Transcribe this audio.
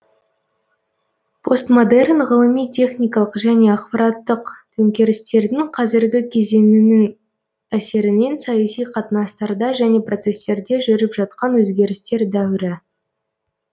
постмодерн ғылыми техникалық және ақпараттық төңкерістердің қазіргі кезеңінің әсерінен саяси қатынастарда және процестерде жүріп жатқан өзгерістер дәуірі